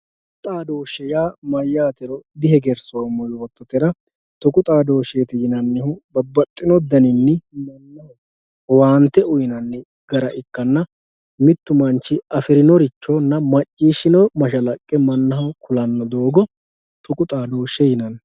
tuqu xaadooshshe yaa mayyaatero dihegersoommo yoottotera tuqu xaadooshsheeti yinannihu babbaxxino mannaho owaante uyiinanni gara ikkanna mittu manchi afieinorichonna macciishshino mashalaqqe mannaho kulanno doogo tuqu xaadooshshe yinanni.